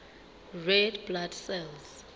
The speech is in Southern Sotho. red blood cells